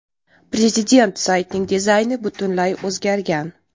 Prezident saytning dizayni butunlay o‘zgargan.